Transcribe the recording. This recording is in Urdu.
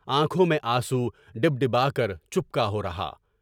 آنکھوں میں آنسو، ڈِب ڈِبا کر چُپکا ہو رہا ہے۔